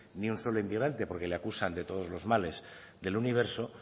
ni un solo inmigrante porque les acusan de todos los males del universo